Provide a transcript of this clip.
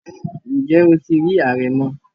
Ǹjẹ́ o ti rí àrẹ̀mọ?